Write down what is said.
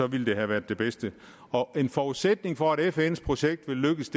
ville det have været det bedste en forudsætning for at fns projekt vil lykkes